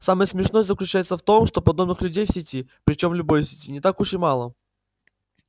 самое смешное заключается в том что подобных людей в сети причём в любой сети не так уж и мало